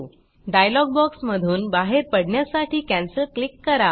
dialogue बॉक्समधून बाहेर पडण्यासाठी कॅन्सेल क्लिक करा